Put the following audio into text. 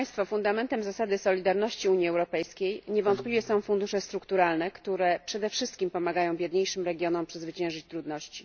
Fundamentem zasady solidarności Unii Europejskiej niewątpliwie są fundusze strukturalne, które przede wszystkim pomagają biedniejszym regionom przezwyciężyć trudności.